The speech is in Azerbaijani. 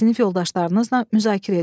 Sinif yoldaşlarınızla müzakirə edin.